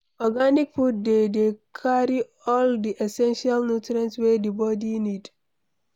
Organic food dey dey carry all di essential nutrients wey di body need